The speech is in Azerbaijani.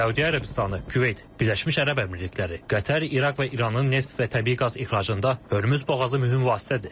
Səudiyyə Ərəbistanı, Küveyt, Birləşmiş Ərəb Əmirlikləri, Qətər, İraq və İranın neft və təbii qaz ixracında Hörmüz boğazı mühüm vasitədir.